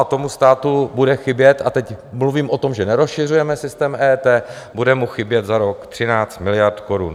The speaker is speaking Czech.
A tomu státu bude chybět, a teď mluvím o tom, že nerozšiřujeme systém EET, bude mu chybět za rok 13 miliard korun.